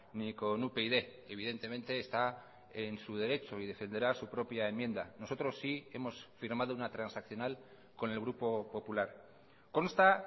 ni con upyd evidentemente está en su derecho y defenderá su propia enmienda nosotros sí hemos firmado una transaccional con el grupo popular consta